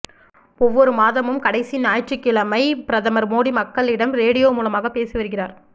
ஒவ்வொரு மாதமும் கடைசி ஞாயிற்றுக்கிழமை பிரதமர் மோடி மக்களிடம் ரேடியோ மூலமாக பேசிவருகிறார்